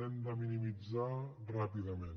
l’hem de minimitzar ràpidament